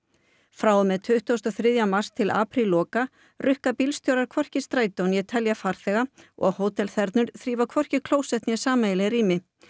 frá og með tuttugasta og þriðja mars til aprílloka rukka bílstjórar hvorki í strætó né telja farþega og þrífa hvorki klósett né sameiginleg rými